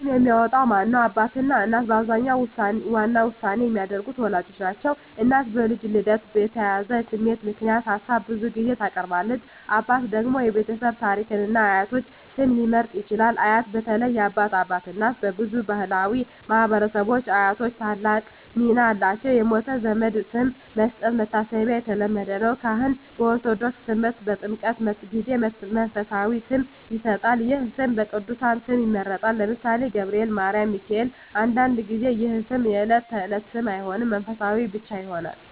ስም የሚያወጣው ማን ነው? አባትና እናት በአብዛኛው ዋና ውሳኔ የሚያደርጉት ወላጆች ናቸው። እናት በልጁ ልደት የተያያዘ ስሜት ምክንያት ሀሳብ ብዙ ጊዜ ታቀርባለች። አባት ደግሞ የቤተሰብ ታሪክን እና የአያቶች ስም ሊመርጥ ይችላል። አያት (በተለይ የአባት አባት/እናት) በብዙ ባሕላዊ ማኅበረሰቦች አያቶች ታላቅ ሚና አላቸው። የሞተ ዘመድ ስም መስጠት (መታሰቢያ) የተለመደ ነው። ካህን (በኦርቶዶክስ ተምህርት) በጥምቀት ጊዜ መንፈሳዊ ስም ይሰጣል። ይህ ስም ከቅዱሳን ስም ይመረጣል (ለምሳሌ፦ ገብርኤል፣ ማርያም፣ ሚካኤል)። አንዳንድ ጊዜ ይህ ስም የዕለት ተዕለት ስም አይሆንም፣ መንፈሳዊ ብቻ ይሆናል።